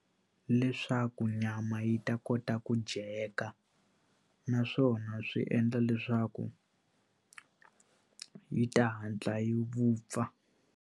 Leswaku nyama yi ta kota ku dyeka naswona swi endla leswaku yi ta hatla yi vupfa.